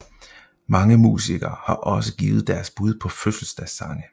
Mange musikere har også givet deres bud på fødselsdagssange